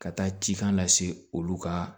Ka taa cikan lase olu ka